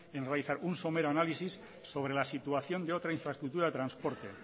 en realizar un somero análisis sobre la situación de otra infraestructura de transporte